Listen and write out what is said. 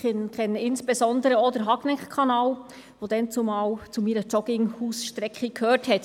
Ich kenne insbesondere auch den Hagneckkanal, der damals zu meiner Jogging-Hausstrecke gehörte.